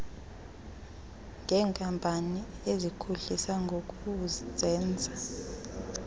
ngeenkampani ezikhohlisa ngokuzenza